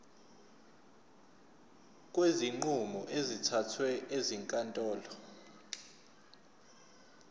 kwezinqumo ezithathwe ezinkantolo